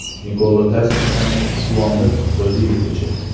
Nikola Tasichdan Quvondiq Ro‘ziyevgacha.